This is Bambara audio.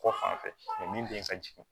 Kɔ fan fɛ mɛ min den ka jigin